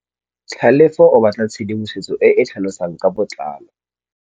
Tlhalefô o batla tshedimosetsô e e tlhalosang ka botlalô.